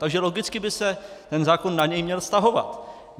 Takže logicky by se ten zákon na něj měl vztahovat.